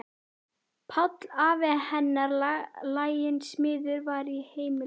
Páll afi hennar, laginn smiður, var í heimilinu.